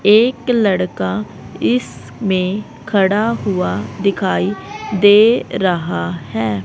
एक लड़का इस में खड़ा हुआ दिखाई दे रहा है।